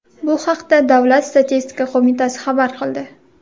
Bu haqda davlat statistika qo‘mitasi xabar qildi .